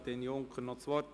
– Das ist nicht der Fall.